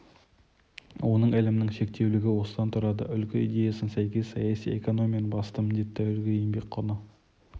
оның ілімінің шектеулілігі осыдан тұрады үлгі идеясына сәйкес саяси экономияның басты міндеті үлгі еңбек құны